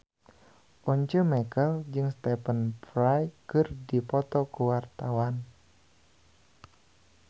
Once Mekel jeung Stephen Fry keur dipoto ku wartawan